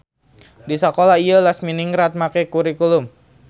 Di sakola ieu Lasminingrat make kurikulum.